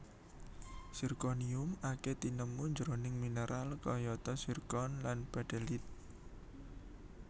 Zirkonium akèh tinemu jroning mineral kayata zirkon lan baddelyit